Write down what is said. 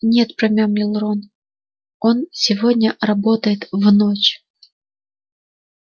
нет промямлил рон он сегодня работает в ночь